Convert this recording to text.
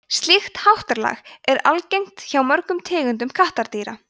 slíkt háttalag er algengt hjá mörgum tegundum kattardýra